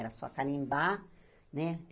Era só carimbar, né?